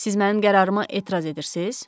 Siz mənim qərarıma etiraz edirsiz?